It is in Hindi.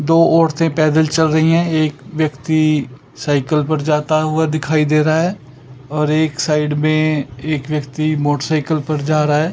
दो औरतें पैदल चल रही हैं एक व्यक्ति साइकल पर जाता हुआ दिखाई दे रहा है और एक साइड में एक व्यक्ति मोटरसाइकिल पर जा रहा है।